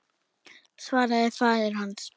svaraði faðir hans.